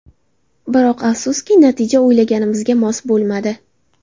Biroq afsuski, natija o‘yinimizga mos bo‘lmadi.